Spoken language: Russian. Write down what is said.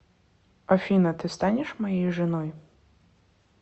афина ты станешь моей женой